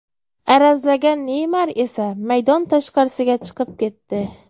Arazlagan Neymar esa maydon tashqarisiga chiqib ketdi.